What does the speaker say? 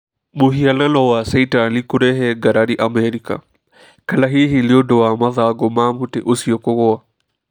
Mũhianano wa caitani kurehe kũrehe ngarari Amerika. Kana hihi nĩ ũndũ wa mathangũ ma mũtĩ ũcio kũgũa.